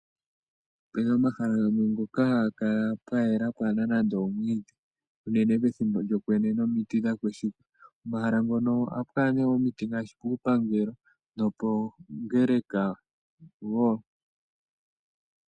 Opena omahala gamwe ngoka haga kala pwayela pwaana nande omwiidhi unene pethimbo lyokwenye nomiti dhakweshuka. Omahala ngono ohapu kala nee omiti ngaashi puupangelo nopoongeleka wo.